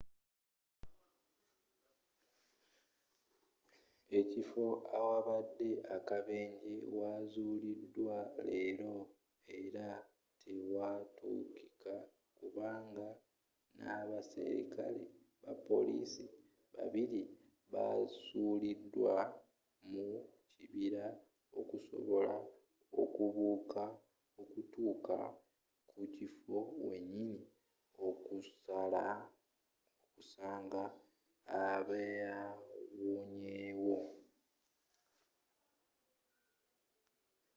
ekifo awabadde akabenje waazuliddwa leero era tewatuukika kubanga n'abaserikale ba police babiri basuliddwa mu kibira okusobola okubuuka okutuuka ku kifo wenyini okusanga abawonyewo